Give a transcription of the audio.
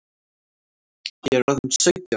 Ég er orðin sautján!